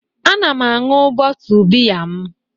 Ana m aṅụ bootle biya m